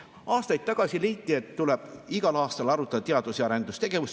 Aastaid tagasi leiti, et igal aastal tuleb arutada teadus‑ ja arendustegevust.